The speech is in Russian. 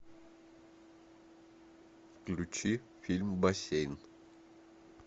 включи фильм бассейн